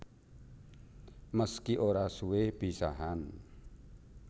Meski ora suwe pisahan